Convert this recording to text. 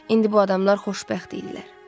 İndi bu adamlar xoşbəxt idilər.